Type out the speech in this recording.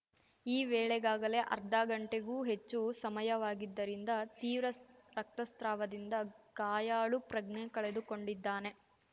ಈ ವೇಳೆಗಾಗಲೇ ಅರ್ಧಗಂಟೆಗೂ ಹೆಚ್ಚು ಸಮಯವಾಗಿದ್ದರಿಂದ ತೀವ್ರ ರಕ್ತಸ್ತ್ರಾವದಿಂದ ಗಾಯಾಳು ಪ್ರಜ್ಞೆ ಕಳೆದುಕೊಂಡಿದ್ದಾನೆ